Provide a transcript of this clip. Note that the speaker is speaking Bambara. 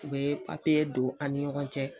U bɛ papiye don an ni ɲɔgɔn cɛ